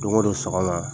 Don go don sɔgɔma